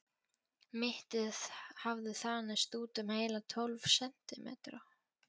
Mittið hafði þanist út um heila tólf sentímetra.